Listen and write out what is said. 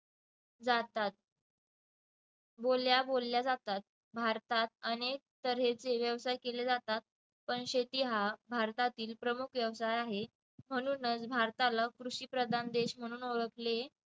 जातात बोलल्या बोलल्या जातात भारतात अनेक तऱ्हेचे व्यवसाय केले जातात पण शेती हा भारतातील प्रमुख व्यवसाय आहे म्हणूनच भारताला कृषिप्रधान देश म्हणून ओळखले